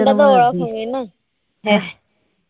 মনটা তো ওরকমই না